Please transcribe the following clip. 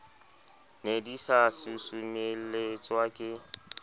ne di sa susumeletswa ke